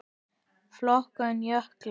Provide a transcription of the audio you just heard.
Flokkun jökla